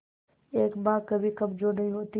एक मां कभी कमजोर नहीं होती